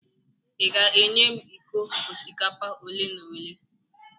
ị ga-enye m iko osikapa ole n'ole?